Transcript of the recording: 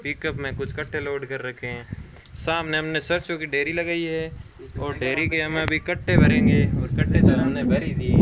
Pickup में कुछ कट्टे लोड कर रखे हैं सामने हमने सरसों की ढेरी लगाई है और ढेरी के हम अभी कट्टे भरेंगे और कट्टे तो हमने भर ही दिए।